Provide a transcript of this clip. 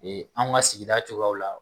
Ee anw ka sigida cogoyaw la